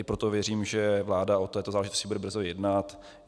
I proto věřím, že vláda o této záležitosti bude brzo jednat.